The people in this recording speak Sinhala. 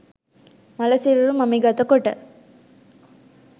මළ සිරුරු මමිගත කොට